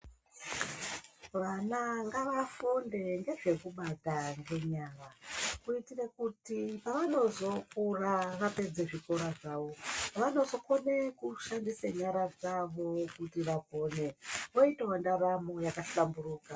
Vana ngavafunde ngezvekubata ngenyara kuitire kuti pavanozokura vapedze zvikora zvawo vanozokone kushandisa nyara dzavo kuti vapone voitawo ndaramo yakahlamburuka.